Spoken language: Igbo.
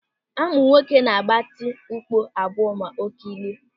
Amụ nwoke na-agbati ukpo abụọ ma ọ kelie.